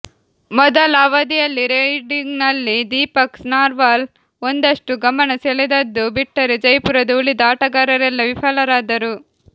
ಮೊದಲ ಅವಧಿಯಲ್ಲಿ ರೈಡಿಂಗ್ನಲ್ಲಿ ದೀಪಕ್ ನರ್ವಾಲ್ ಒಂದಷ್ಟು ಗಮನ ಸೆಳೆದದ್ದು ಬಿಟ್ಟರೆ ಜೈಪುರದ ಉಳಿದ ಆಟಗಾರರೆಲ್ಲ ವಿಫಲರಾದರು